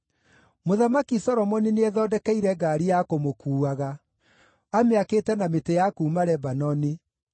Mũthamaki Solomoni nĩethondekeire ngaari ya kũmũkuuaga; amĩakĩte na mĩtĩ ya kuuma Lebanoni.